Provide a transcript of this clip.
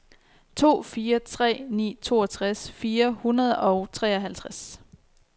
to fire tre ni toogtres fire hundrede og treoghalvtreds